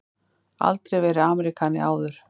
Aldrei verið Ameríkani áður.